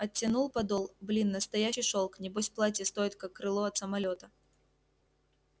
оттянул подол блин настоящий шёлк небось платье стоит как крыло от самолёта